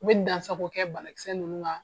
U be dan sako kɛ banakisɛ nunnu kan.